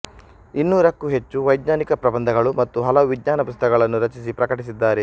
ಇನ್ನೂರಕ್ಕೂ ಹೆಚ್ಚು ವೈಜ್ಞಾನಿಕ ಪ್ರಬಂಧಗಳು ಮತ್ತು ಹಲವು ವಿಜ್ಞಾನ ಪುಸ್ತಕಗಳನ್ನು ರಚಿಸಿ ಪ್ರಕಟಿಸಿದ್ದಾರೆ